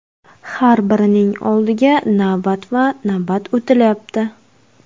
Har birining oldiga navbatma-navbat o‘tilyapti.